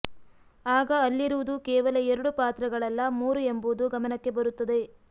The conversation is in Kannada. ಆಗ ಅಲ್ಲಿರುವುದು ಕೇವಲ ಎರಡು ಪಾತ್ರಗಳಲ್ಲ ಮೂರು ಎಂಬುದು ಗಮನಕ್ಕೆ ಬರುತ್ತದೆ